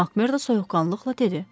Makmerdo soyuqqanlıqla dedi.